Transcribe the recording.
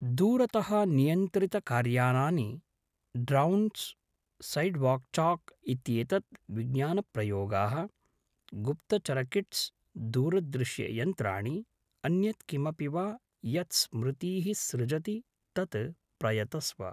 दूरतः नियन्त्रितकार्यानानि, drones, sidewalk chalk इत्येतत्, विज्ञानप्रयोगाः, गुप्तचरकिट्स्, दूरदृश्ययन्त्राणि, अन्यत् किमपि वा यत् स्मृतीः सृजति तत् प्रयतस्व।